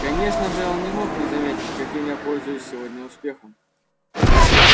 конечно же он не мог не заметить каким я пользуюсь сегодня успехом